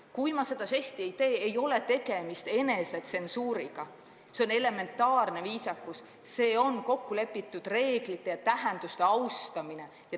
Kui ma seda žesti ei tee, ei ole tegemist enesetsensuuriga, see on elementaarne viisakus, see on kokkulepitud reeglite ja tähenduste austamine.